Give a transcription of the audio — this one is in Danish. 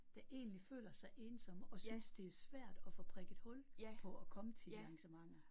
Der egentlig føler sig ensomme og synes det er svært at få prikket hul på at komme til de arrangementer